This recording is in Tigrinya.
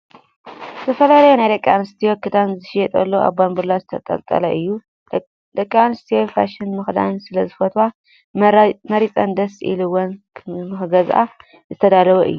ዝተፈላለዩ ናይ ደቂ ኣንስትዮ ክዳን ዝሽየጠሉ ኣብ ባንቡላ ዝተጠልጠለ እዩ። ደቂ ኣንስትዮ ፋሽን ምክዳን ስለ ዝፈትዋ መሪፀን ደስ ኢልዎን ንክገዝኣ ዝተዳለወ እዩ።